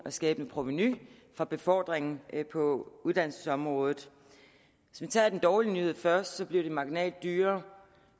at skabe et provenu fra befordringen på uddannelsesområdet hvis vi tager den dårlige nyhed først bliver det marginalt dyrere